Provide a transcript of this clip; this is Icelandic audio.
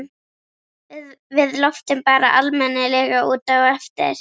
Við loftum bara almennilega út á eftir.